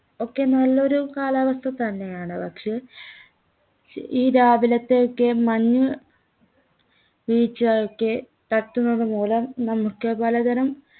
ഒക്കെ നല്ലൊരു കാലാവസ്ഥ തന്നെയാണ് പക്ഷെ ഈ രാവിലത്തെയൊക്കെ മഞ്ഞ് വീഴ്ചയൊക്കെ തട്ടുന്നത് മൂലം നമുക്ക് പലതരം